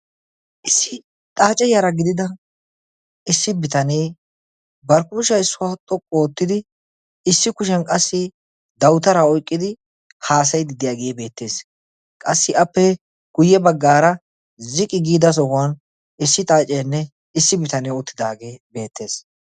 issi xaace yaara gidida issi bitanee bari kushiya issuwaa xoqqu oottidi issi kushiyan qassi dawutaraa oyqqidi haasayidi diyaagee beettees qassi appe guyye baggaara ziqi giida sohuwan issi xaaceenne issi bitanee outtidaagee beettees